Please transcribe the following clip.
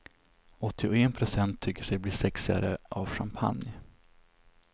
Åttioen procent tycker sig bli sexigare av champagne.